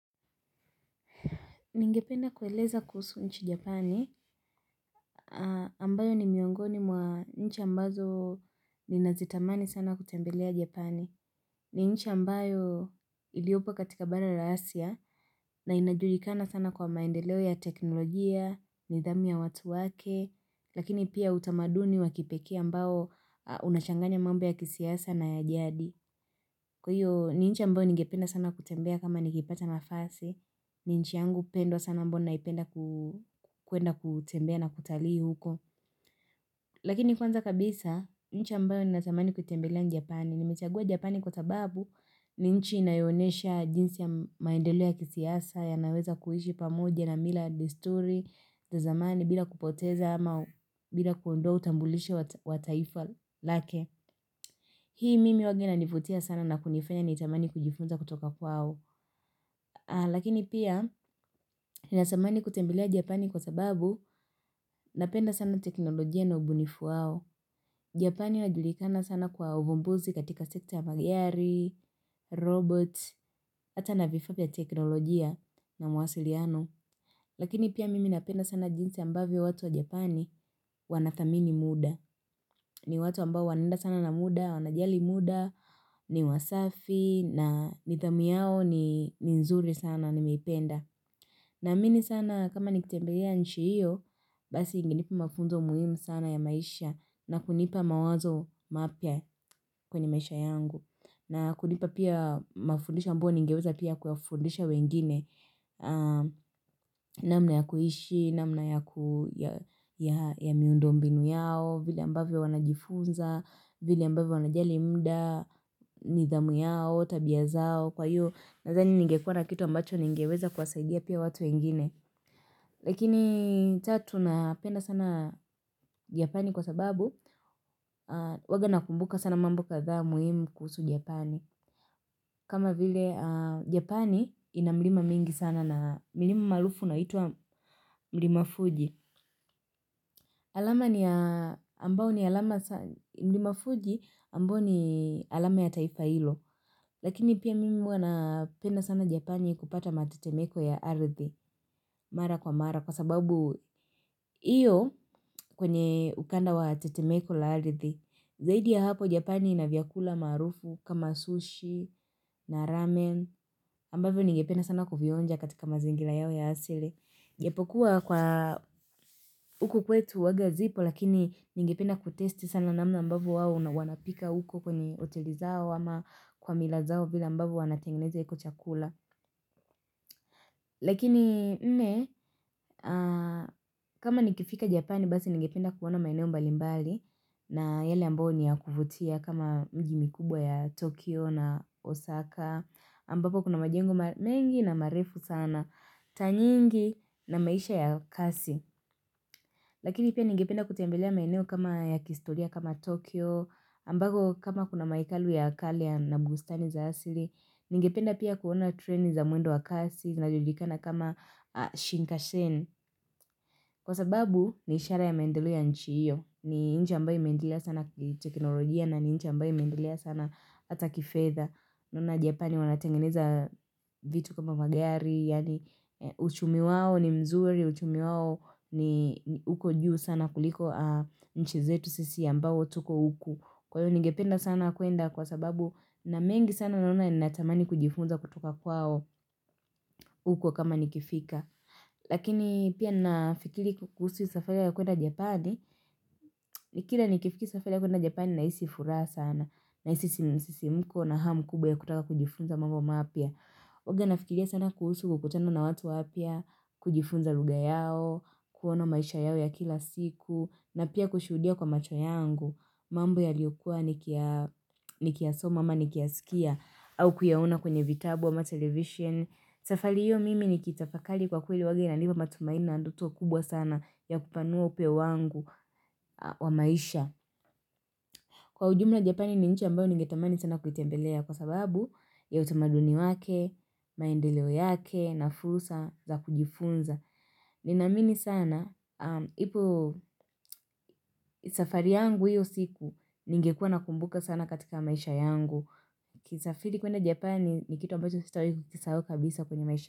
Ningependa kueleza kuhusu nchi japani ambayo ni miongoni mwa nchi ambazo ni nazitamani sana kutembelea japani ni nchi ambayo iliopo katika bana rahasia na inajulikana sana kwa maendeleo ya teknolojia, nidhamu ya watu wake Lakini pia utamaduni wa kipekee ambao unachanganya mambo ya kisiasa na ya jadi Kwa hiyo ni nchi ambayo nigependa sana kutembea kama nikipata nafasi ni nchi yangu upendo sana ambao naipenda ku kuenda kutembea na kutalii huko lakini kwanza kabisa nchi ambayo ni natamani kutembelea njapani nimetagua japani kwa sababu ni nchi inayonesha jinsi ya maendeleo ya kisiasa ya naweza kuhishi pamoja na mila desturi tazamani bila kupoteza ama bila kuondoa utambulishe wa taifal lake hii mimi wagi na nifutia sana na kunifanya ni itamani kujifunza kutoka kwao aa lakini pia ni natamani kutembelea japani kwa sababu Napenda sana teknolojia na ubunifu wao Japani na julikana sana kwa ubumbuzi katika sekta ya magiari, robot Ata na vifaa vya teknolojia na mwasiliano Lakini pia mimi napenda sana jinsi ambavyo watu wa Japani wanathamini muda ni watu ambao wanaenda sana na muda, wanajali muda, ni wasafi na nithamu yao ni nzuri sana ni meipenda na amini sana kama nikitembelea nchi hiyo, basi ingenipa mafunzo muhimu sana ya maisha na kunipa mawazo mapya kwenye maisha yangu. Na kunipa pia mafundisho ambao ningeweza pia kuafundisha wengine, namna ya kuhishi, namna ya miundombinu yao, vile ambavyo wanajifunza, vile ambavyo wanajali mda, nidhamu yao, tabia zao. Kwa hiyo nazani ningekuwa na kitu ambacho ningeweza kwasaidia pia watu wengine Lakini cha tunapenda sana Japani kwa sababu Waga nakumbuka sana mambo katha muhimu kusu Japani kama vile Japani inamlima mingi sana na milima marufu naituwa mlimafuji alama ni mlimafuji ambao ni alama ya taifa hilo Lakini pia mimi wanapenda sana Japani kupata matetemeko ya ardhi Mara kwa mara kwa sababu iyo kwenye ukanda wa tatemeko la arithi Zaidi ya hapo Japani inavyakula marufu kama sushi na ramen ambavyo ninge penda sana kuvionja katika mazingila yao ya hasile Jepo kuwa kwa uko kwetu wagazipo lakini ningependa kutesti sana namna ambavyo wao na wanapika uko kwenye hoteli zao ama kwa mila zao vile ambavyo wanatengeneza kuchakula Lakini ne, kama nikifika Japani basi ninge penda kuona maeneo mbalimbali na yale ambao ni ya kufutia kama mjimikubwa ya Tokyo na Osaka ambapo kuna majingu mengi na marefu sana, tanyingi na maisha ya kasi Lakini pia ninge penda kutembelea maeneo kama ya kistoria kama Tokyo Ambago kama kuna maekalu ya Kalian na bustani za asiri Ningependa pia kuona treni za mwendo wakasi na jodikana kama shinkashen Kwa sababu ni ishara ya maendelek ya nchi iyo ni inchi ambayo imeendelea sana kitekinolojia na ni inchi ambayo imendilia sana hata kifeza Nona jepani wanatengeneza vitu kama magari Yani uchumi wawo ni mzuri, uchumi wawo ni uko juu sana kuliko mchizetu sisi ambao tuko uku Kwa hivyo ningependa sana kuenda kwa sababu na mengi sana nalona ni natamani kujifunza kutoka kwao huko kama nikifika. Lakini pia nafikiri kuhusu safari ya kuenda japani ni kila nikifiki safari ya kuenda japani na isi furaha sana. Na isi msisimuko na hamu kubwa ya kutaka kujifunza mambo mapia. Waga nafikiria sana kuhusu kukutana na watu wapia, kujifunza luga yao, kuona maisha yao ya kila siku, na pia kushudia kwa macho yangu mambo yaliyokuwa niki ya ni kiasoma ama ni kiasikia au kuyaona kwenye vitabu wa ma-television safari hiyo mimi ni kitafakali kwa kweli wagi na liba matumaina andoto kubwa sana ya kupanua upe wangu wa maisha kwa ujumla japani ni nchi ambayo ningetamani sana kulitembelea kwa sababu ya utamaduni wake maendeleo yake na fusa za kujifunza ninamini sana na ipo safari yangu hiyo siku ningekua na kumbuka sana katika maisha yangu. Kisafiri kuenda Japani ni kitu ambacho sitawahi kukisahau kabisa kwenye maisha.